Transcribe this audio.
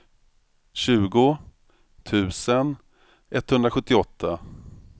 tjugo tusen etthundrasjuttioåtta